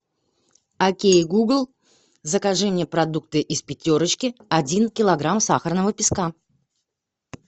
окей гугл закажи мне продукты из пятерочки один килограмм сахарного песка